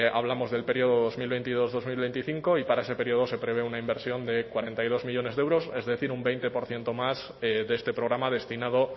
hablamos del periodo dos mil veintidós dos mil veinticinco y para ese periodo se prevé una inversión de cuarenta y dos millónes de euros es decir un veinte por ciento más de este programa destinado